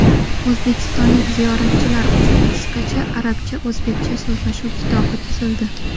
O‘zbekistonlik ziyoratchilar uchun qisqacha arabcha-o‘zbekcha so‘zlashuv kitobi tuzildi.